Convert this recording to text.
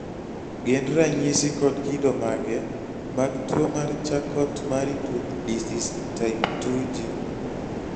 gin ranyisi kod kido mage mag tuwo mar charcot marie tooth disease type 2G?